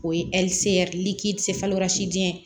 O ye diɲɛ